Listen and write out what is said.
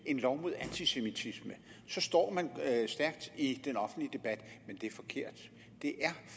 en lov mod antisemitisme så står man stærkt i den offentlige debat men det er forkert det er